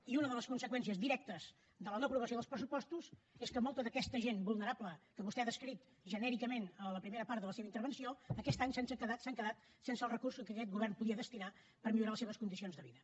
i una de les conseqüències directes de la no aprovació dels pressupostos és que molta d’aquesta gent vulnerable que vostè ha descrit genèricament a la primera part de la seva intervenció aquest any s’han quedat sense els recursos que aquest govern podia destinar per millorar les seves condicions de vida